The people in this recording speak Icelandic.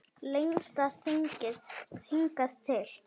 Lengsta þingið hingað til